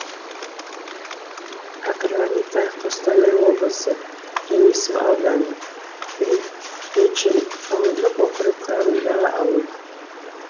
окраника қостанай облысы денисов ауданы приречен ауылдық округі құрамындағы ауыл